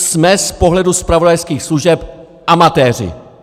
Jsme z pohledu zpravodajských služeb amatéři!